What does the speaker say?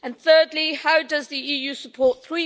Thirdly, how does the EU support the